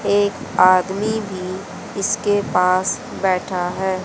एक आदमी भी इसके पास बैठा है।